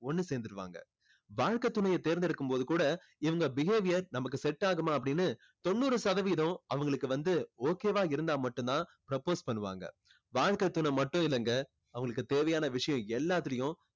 ஒண்ணு சேர்ந்துருவாங்க. வாழ்க்கைத் துணையை தேர்ந்தெடுக்கும் போது கூட இவங்க behaviour நமக்கு set ஆகுமா அப்படின்னு தொண்ணூறு சதவீதம் அவங்களுக்கு வந்து okay வா இருந்தா மட்டும் தான் propose பண்ணுவாங்க. வாழ்க்கை துணை மட்டும் இல்லைங்க அவங்களுக்கு தேவையான விஷயம் எல்லாத்துலேயும்